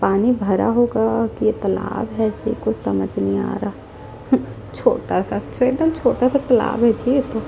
पानी भरा होगा ये तलाब है कि कुछ समझ नहीं आ रहा है हट छोटा -सा एकदम छोटा- सा तलाब है जी एकदम --